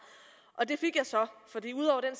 det fik jeg så er